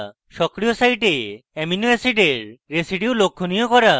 সক্রিয় site amino অ্যাসিডের residues লক্ষনীয় করা